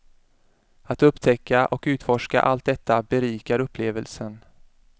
Att upptäcka och utforska allt detta berikar upplevelsen.